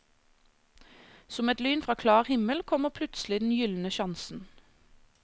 Som et lyn fra klar himmel kommer plutselig den gyldne sjansen.